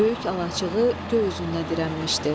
Böyük alaçığı göy üzünə dirənmişdi.